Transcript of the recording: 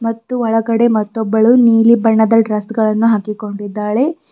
ಮತ್ತು ಒಳಗಡೆ ಮತ್ತೊಬ್ಬಳು ನೀಲಿ ಬಣ್ಣದ ಡ್ರಸ್ ಗಳನ್ನು ಹಾಕಿಕೊಂಡಿದ್ದಾಳೆ.